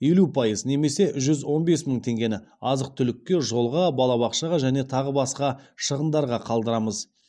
елу пайыз немесе жүз он бес мың теңгені азық түлікке жолға балабақшаға және тағы басқа шығындарға қалдырамыз